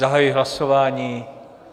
Zahajuji hlasování.